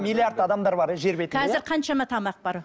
миллиард адамдар бар иә қазір қаншама тамақ бар